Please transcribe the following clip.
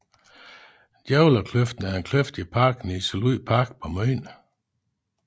Djævlekløften er en kløft i parken i Liselund Park på Møn